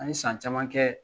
An ye san caman kɛ